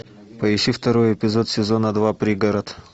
поищи второй эпизод сезона два пригород